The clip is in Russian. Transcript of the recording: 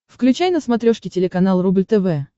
включай на смотрешке телеканал рубль тв